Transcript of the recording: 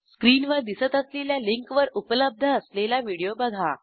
स्क्रीनवर दिसत असलेल्या लिंकवर उपलब्ध असलेला व्हिडिओ बघा